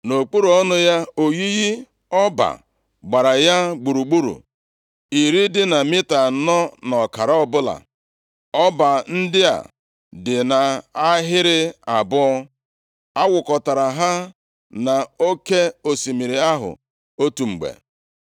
Nʼokpuru ọnụ ya, oyiyi ọba gbara ya gburugburu, iri dị na mita anọ na ọkara ọbụla. Ọba ndị a dị nʼahịrị abụọ, awụkọtara ha na Oke osimiri ahụ otu mgbe.